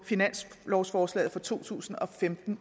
finanslovsforslaget for to tusind og femten